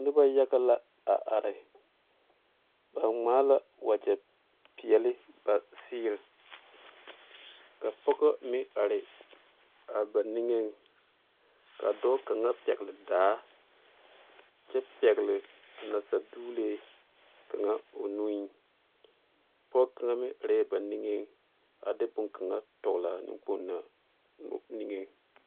Noba yaga la a are ba ŋmaa la wagye peɛle ba seere ka pɔge meŋ are a ba niŋe ka dɔɔ kaŋa pegle daa kyɛ pegle a nasadoglee kaŋa o nu pɔge kaŋa meŋ are ba niŋe a de boŋ kaŋa tɔlaa nenkpoŋ na noɔ niŋe.